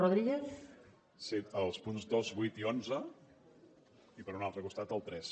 sí els punts dos vuit i onze i per un altre costat el tres